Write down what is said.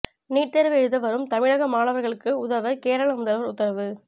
NEET தேர்வு எழுத வரும் தமிழக மாணவர்களுக்கு உதவ கேரள முதல்வர் உத்தரவு